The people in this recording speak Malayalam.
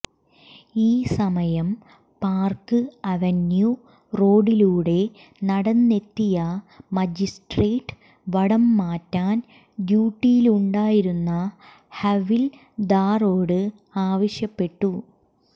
ഈ സമയം പാർക്ക് അവന്യൂ റോഡിലൂടെ നടന്നെത്തിയ മജിസ്ട്രേട്ട് വടംമാറ്റാൻ ഡ്യൂട്ടിയിലുണ്ടായിരുന്ന ഹവിൽദാറോട് ആവശ്യപ്പെട്ടു